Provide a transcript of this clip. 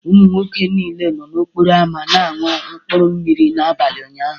Ụmụ nwoke niile nọ n'okporo ámá na-aṅụ mkpuru mmiri n'abalị ụnyaahụ